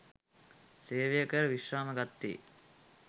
සේවය කර විශ්‍රාම ගත්තේ